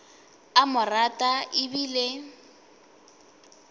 a mo rata e bile